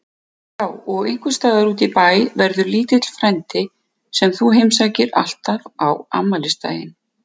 Já og einhvers staðar útí bæ verður lítill frændi sem þú heimsækir alltaf á afmælisdaginn.